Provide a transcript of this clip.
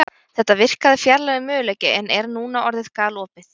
Þetta virkaði fjarlægur möguleiki en er núna orðið galopið.